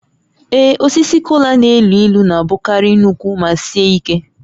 Ee, osisi kola na-elu ilu na-abụkarị nnukwu ma sie ike